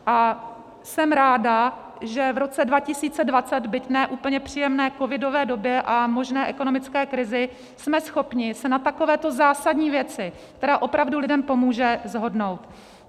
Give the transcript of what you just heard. A jsem ráda, že v roce 2020, byť ne úplně příjemné covidové době a možné ekonomické krizi, jsme schopni se na takovéto zásadní věci, která opravdu lidem pomůže, shodnout.